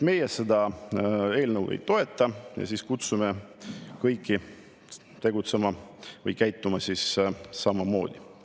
Meie seda eelnõu ei toeta ja kutsume kõiki tegutsema või käituma samamoodi.